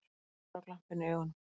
Einari og glampinn í augunum.